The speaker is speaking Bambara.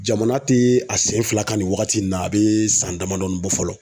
Jamana te a sen fila ka nin wagati in na a be san damadɔnin bɔ fɔlɔ.